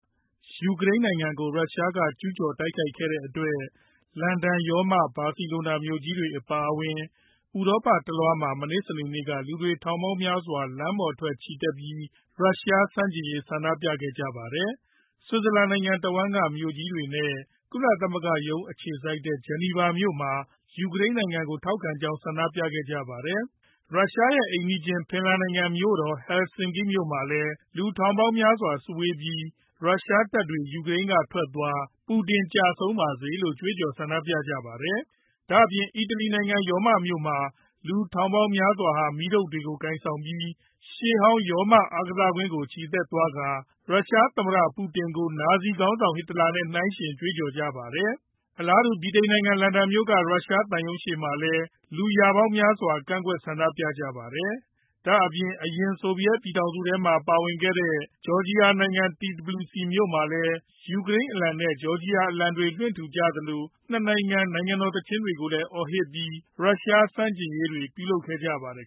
ယူကရိန်းနိုင်ငံကို ရုရှားက ကျူးကျော်တိုက်ခိုက်ခဲ့တဲ့အတွက် လန်ဒန်၊ ရောမနဲ့ ဘာစီလိုနာမြို့ကြီးတွေ အပါအဝင် ဥရောပတလွှားမှာ မနေ့ စနေနေ့က လူတွေ ထောင်ပေါင်းများစွာ လမ်းပေါ်ထွက် ချီတက်ပြီး ရုရှားဆန့်ကျင်ရေး ဆန္ဒပြခဲ့ကြပါတယ်။ ဆွစ်ဇာလန်နိုင်ငံတဝန်းက မြို့တွေနဲ့ ကုလသမဂ္ဂရုံးတွေ အခြေစိုက်တဲ့ ဂျီနီဗာမြို့မှာ လူပေါင်း ၁,၀၀၀ လောက်က ယူကရိန်းနိုင်ငံကို ထောက်ခံကြောင်း ဆန္ဒပြကြပါတယ်။ ရုရှားရဲ့အိမ်နီးချင်း ဖင်လန်နိုင်ငံ မြို့တော် ဟယ်လဆင်ကီးမှာလည်း လူထောင်ပေါင်းများစွာ စုဝေးပြီး ရုရှားတပ်တွေ ယူကရိန်းကထွက်သွား၊ ပူတင်ကျဆုံးပါစေလို့ ကြွေးကြော် ဆန္ဒပြကြပါတယ်။ ဒါ့အပြင် အီတလီနိုင်ငံ ရောမမြို့မှာလည်း လူထောင်ပေါင်းများစွာဟာ မီးတုတ်တွေကို ကိုင်ဆောင်ပြီး ရှေးဟောင်း ရောမအားကစားကွင်းကို ချီတက်သွားကာ ရုရှားသမ္မတ ပူတင်ကို နာဇီခေါင်းဆောင် ဟစ်တလာနဲ့ နှိုင်းယှဉ်ကြွေးကြော်ကြပါတယ်။ အလားတူ ဗြိတိန်နိုင်ငံ လန်ဒန်မြို့က ရုရှားသံရုံးရှေ့မှာလည်း လူရာပေါင်းများစွာက ကန့်ကွက် ဆန္ဒပြကြပါတယ်။ ဒါ့အပြင် အရင် ဆိုဗီယက်ပြည်ထောင်စုထဲမှာ ပါခဲ့တဲ ဂျော်ဂျီယာနိုင်ငံ Tbilisi မြို့မှာလည်း လူပေါင်း ၃၀,၀၀၀ လောက်ဟာ ယူကရိန်းအလံနဲ့ ဂျော်ဂျီယာအလံတွေ လွှွင့်ထူကြသလို ၂ နိုင်ငံ နိုင်ငံတော်သီချင်းတွေကို အော်ဟစ်ပြီး ရုရှားဆန့်ကျင်ရေး လုပ်ဆောင်ခဲ့ကြပါတယ်